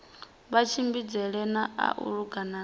matshimbidzele a u langula na